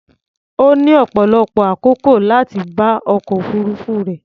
Ó ní ọ̀pọ̀lọpọ̀ àkókò láti bá ọkọ̀ òfuruufú rẹ̀.